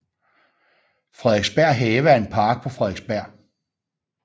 Frederiksberg Have er en park på Frederiksberg